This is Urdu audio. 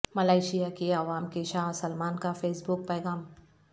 ملائیشیاکی عوام کے شاہ سلمان کا فیس بک پیغام